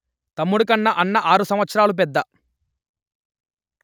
తమ్ముడికన్నా అన్న ఆరు సంవత్సరాలు పెద్ద